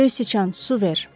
Göy sıçan, su ver.